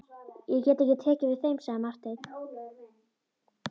Ég get ekki tekið við þeim, sagði Marteinn.